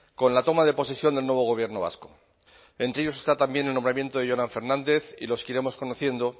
con la toma de posesión del nuevo gobierno vasco entre ellos está también el nombramiento de jonan fernández y los que iremos conociendo